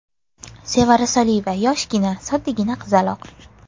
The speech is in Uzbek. Sevara Soliyeva yoshgina, soddagina qizaloq.